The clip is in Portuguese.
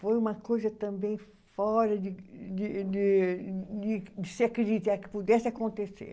Foi uma coisa também fora de de de de de se acreditar que pudesse acontecer.